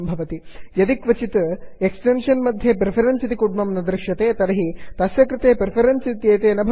यदि क्वचित् यस्मिन्कस्मिन्श्चित् एक्स्टेन्षन् मध्ये प्रिफरेन्स् इति कुड्मं न दृश्यते तर्हि तस्य कृते प्रिफरेन्स् इत्येते न भवन्ति इति सूचितं भवति